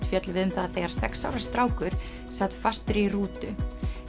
fjöllum við um það þegar sex ára strákur sat fastur í rútu